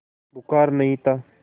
बुखार नहीं था